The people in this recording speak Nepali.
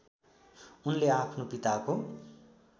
उनले आफ्नो पिताको